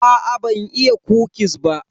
Aa ban iya kukis ba.